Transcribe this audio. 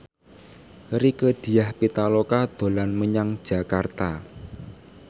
Rieke Diah Pitaloka dolan menyang Jakarta